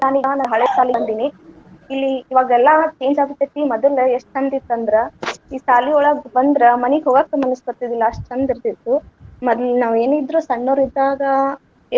ನಾನ ಹಳೆ ಶಾಲಿಗ್ ಬಂದೀನಿ, ಇಲ್ಲಿ ಇವಾಗೆಲ್ಲಾ change ಆಗಾಕತ್ತಿವಿ ಮದಲ ಎಷ್ಟ ಚಂದ ಇತ್ತ ಅಂದ್ರ, ಈ ಸಾಲಿಯೊಳಗ ಬಂದ್ರ ಮನಿಗ ಹೋಗಾಕ ಮನಸ ಬರ್ತಿದಿಲ್ಲಾ ಅಷ್ಟ ಚಂದ ಇರ್ತಿತ್ತು. ಮದಲ ನಾವ ಏನ ಇದ್ರು ಸಣ್ಣವ್ರ ಇದ್ದಾಗ.